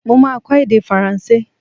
Mo máa kọ èdè Faransé.